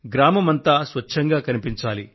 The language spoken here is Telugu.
గ్రామమంతా స్వచ్ఛంగా కనిపించాలి